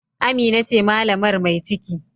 Amina ce malamar mai ciki